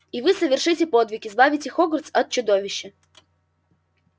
и вы совершите подвиг избавите хогвартс от чудовища